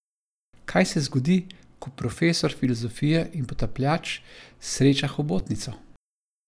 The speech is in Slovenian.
Kaj se zgodi, ko profesor filozofije in potapljač sreča hobotnico?